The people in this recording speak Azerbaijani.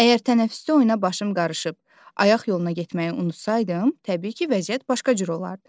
Əgər tənəffüsdə oyuna başım qarışıb, ayaq yoluna getməyi unutsaydım, təbii ki, vəziyyət başqa cür olardı.